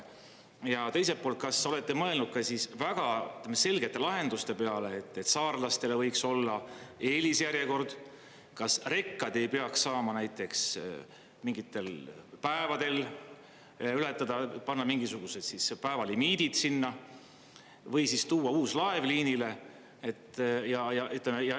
Ja teiselt poolt, kas olete mõelnud ka väga selgete lahenduste peale, et saarlastele võiks olla eelisjärjekord, kas rekkad ei peaks saama näiteks mingitel päevadel ületada, panna mingisugused päevalimiidid sinna või tuua uus laev liinile?